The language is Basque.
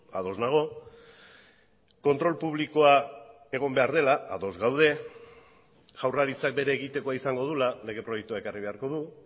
ados nago kontrol publikoa egon behar dela ados gaude jaurlaritzak bere egitekoa izango duela lege proiektua ekarri beharko du